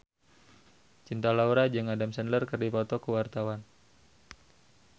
Cinta Laura jeung Adam Sandler keur dipoto ku wartawan